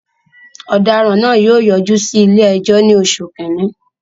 Ọ̀daràn náà yóò yọjú sí ilé-ẹjọ́ ní oṣù kìíní.